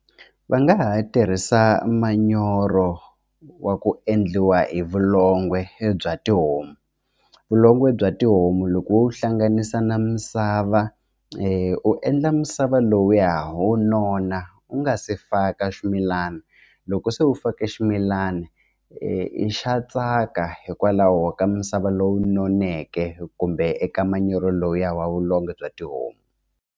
Va nga ha tirhisa manyoro wa ku endliwa hi vulongo bya tihomu vulongo bya tihomu loko wo hlanganisa na misava i u endla misava lowuya wu nona u nga se faka ximilana loko se u fake ximilana i xa tsaka hikwalaho ka misava lowu noneke kumbe eka manyoro lowuya wa vulongo bya tihomu.